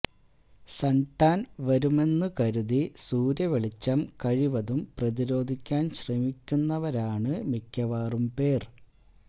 sun tan വരുമെന്നു കരുതി സൂര്യവെളിച്ചം കഴിവതും പ്രതിരോധിക്കാന് ശ്രമിക്കുന്നവരാണ് മിക്കവാറും പേര്